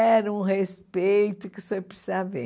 Era um respeito que o senhor precisa ver.